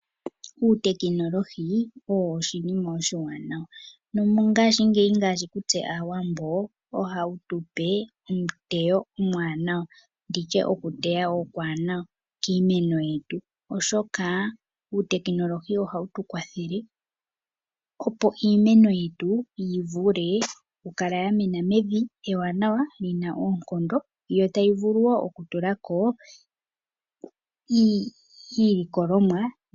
Uutekinolohi owo oshinima oshiwanawa nomongashingeyi kutse Aawambo ohawu tu pe eteyo ewanawa kiimeno yetu, oshoka uutekinolohi ohawu tu kwathele opo iimeno yetu yi vule okukala ya mena mevi ewanawa li naoonkondo yo tayi vulu wo okutula ko iilikolomwa.